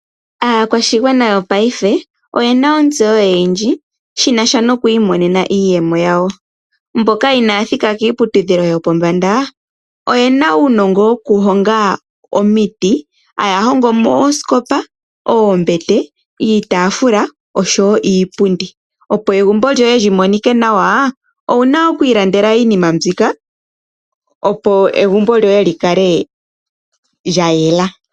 Aakwashigwana yopaife oyena otseyo oyindji shina sha noku imonena iiyemo yawo. Mboka ina thika kiiputudhilo yopombanda oyena uunogo woku hoga omiiti. Haa hogo mo oosikopa, oombete iitafula oshowo iipundi. Opo egumbo lyoye li kale tali monika nawa owuna oku ilandela iinima mbika. Opo egumbo lyo lyikale lyayela.